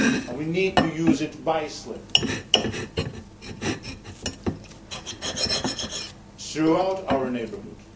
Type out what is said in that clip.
We need to use it wisely throughout our neighbourhood.